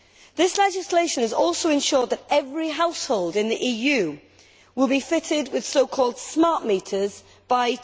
This legislation will also ensure that every household in the EU will be fitted with so called smart meters' by